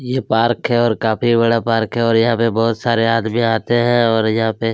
ये पार्क है और काफ़ी बड़ा पार्क है और यहाँ पे बहुत सारे आदमी आते है और यहाँ पे--